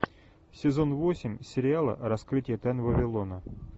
сезон восемь сериала раскрытие тайн вавилона